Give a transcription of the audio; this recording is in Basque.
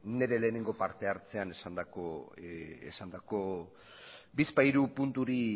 nire lehenengo partehartzean esandako bizpahiru punturi